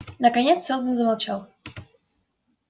наконец сэлдон замолчал